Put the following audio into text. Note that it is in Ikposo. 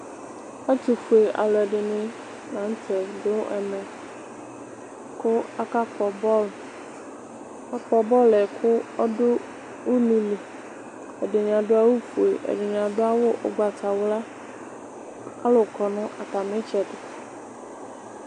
Ɛtʋfue alʋɛdɩnɩ la n'tɛ dʋ ɛmɛ kʋ aka kpɔ bɔl Aka kpɔ bɔl yɛ k',ɔdʋ ululi Ɛdɩnɩ adʋ awʋ fue, ɛdɩnɩ adʋ awʋ ʋgbatawla Alʋ kɔ nʋ atamitsɛdɩ